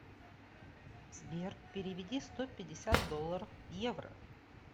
сбер переведи сто пятьдесят долларов в евро